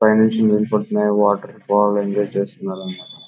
పైనుంచి నీళ్లు పడుతున్నాయి వాటర్ఫాల్ ఎంజాయ్ చేస్తున్నారు అంతా.